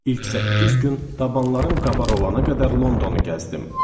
İlk səkkiz gün dabalarım qabar olana qədər Londonu gəzdim.